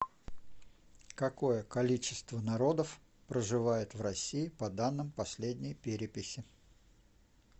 какое количество народов проживает в россии по данным последней переписи